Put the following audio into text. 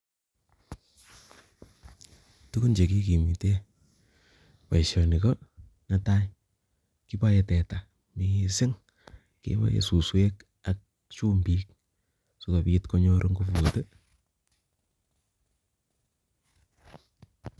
Tukun chekikimite boishoni ko netai kipae teta mising kiboe suswek ak chumbik sokop konyor nguput